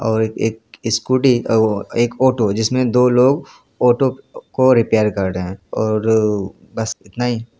--और एक स्कूटी और एक ऑटो जिसमें दो लोग ऑटो को रिपेयर कर रहे हैं और बस इतना ही।